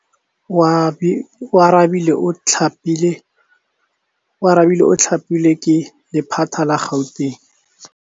Oarabile o thapilwe ke lephata la Gauteng.